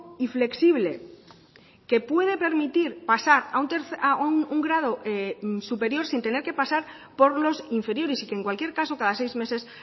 y flexible que puede permitir pasar a un grado superior sin tener que pasar por los inferiores y que en cualquier caso cada seis meses